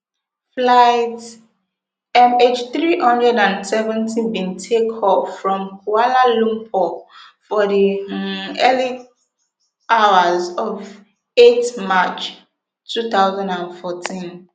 flight mhthree hundred and seventy bin take off from kuala lumpur for di um early hours of eight march two thousand and fourteen